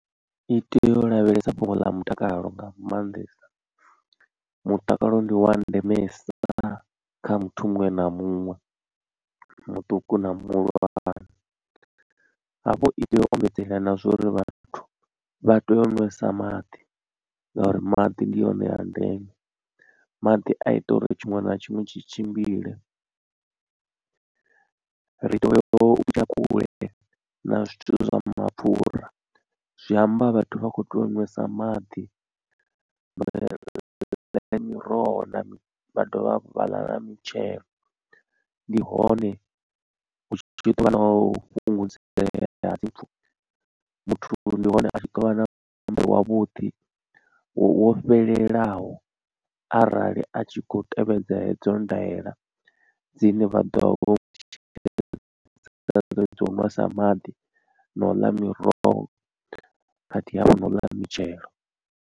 I tea u lavhelesa fhungo ḽa mutakalo nga maanḓesa mutakalo ndi wa ndemesa kha muthu muṅwe na muṅwe, muṱuku na muhulwane hafho i tea u ombedzela na zwa uri vhathu vha tea u ṅwesa maḓi ngauri maḓi ndi one a ndeme. Maḓi a ita uri tshiṅwe na tshiṅwe tshi tshimbile ri tea u kule na zwithu zwa mapfura zwi amba vhathu vha kho tea u ṅwesa maḓi ḽa miroho na vha dovha hafhu vhaḽa na mitshelo. Ndi hone hu tshi ḓovha na u fhungudzea ha dzimpfu muthu ndi hone a tshi ḓovha na muhumbulo wavhuḓi wo fhelelaho arali a tshi khou tevhedza hedzo ndaela dzine vha ḓovha vho dza u nwesa maḓi na u ḽa miroho khathihi hafhu na u ḽa mitshelo.